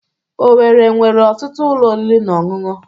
Owerri nwere ọtụtụ ụlọ oriri na ọṅụṅụ.